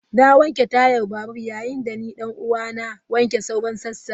Na wanke Tayar babur yayin da ni dan uwa na wanke sauran sassan.